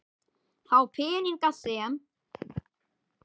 Þá peninga sem